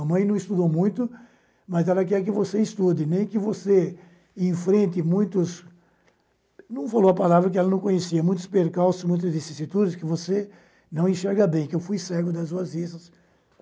A mãe não estudou muito, mas ela quer que você estude, nem que você enfrente muitos... Não falou a palavra que ela não conhecia, muitos percalços, muitos desistitutos que você não enxerga bem, que eu fui cego das suas vistas.